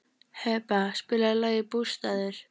Heba, spilaðu lagið „Bústaðir“.